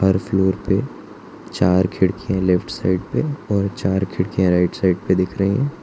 हर floor पे चार खिड़कियां लेफ्ट साइड पे और चार खिड़कियां राइट साइड पे दिख रही है।